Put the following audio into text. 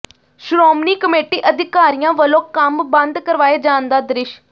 Shiromani committee ਅਧਿਕਾਰੀਆਂ ਵੱਲੋਂ ਕੰਮ ਬੰਦ ਕਰਵਾਏ ਜਾਣ ਦਾ ਦ੍ਰਿਸ਼